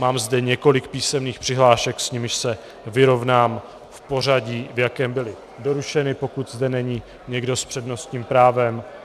Mám zde několik písemných přihlášek, s nimiž se vyrovnám v pořadí, v jakém byly doručeny, pokud zde není někdo s přednostním právem.